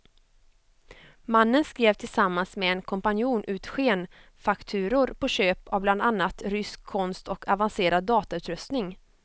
Mannen skrev tillsammans med en kompanjon ut skenfakturor på köp av bland annat rysk konst och avancerad datautrustning.